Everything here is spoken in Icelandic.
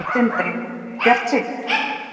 Sindri: Bjartsýnn?